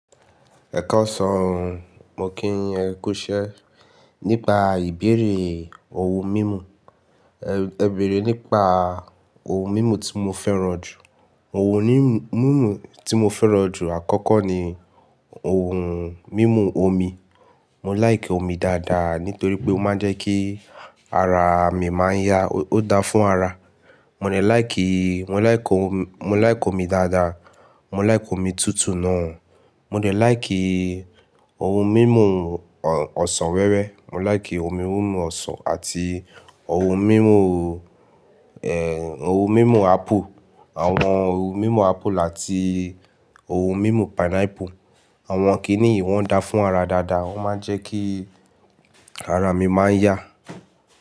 Ẹkaasàn o, mo kí yin ẹ kú iṣẹ́. Nípa ìbéèrè ohun mímu. Ẹ bèèrè nípa ohun mímu tí mo fẹ́ràn jù. Ohun mímu tí mo fẹ́ràn jù àkọ́kọ́ ni ohun mímu omi. Mo like omi dáadáa nítorí pé ó máa ń jẹ́ kí ara mi máa ń yá. Ó da fún ara. Mò dẹ like, mo like, mo like omi dáadáa. Mo like omi tútù náà. Mò dẹ like ohun mímuọsàn wẹ́wẹ́. Mo like ohun mímu ọsàn àti ohun mímu, ohun mímu apple. Àwọn ohun mímu apple àti ohun mímu pineapple. Àwọn kíníì wọn dáa fún ara dáadáa. Wọ́n máa ń jẹ́ kí ara mi máa ń yá.